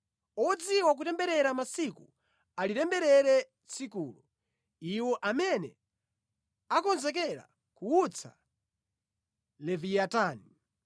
Odziwa kutemberera masiku alitemberere tsikulo, iwo amene akonzekera kuwutsa Leviyatani.